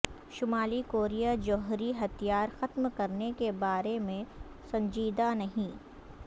شمالی کوریا جوہری ہتھیار ختم کرنے کے بارے میں سنجیدہ نہیں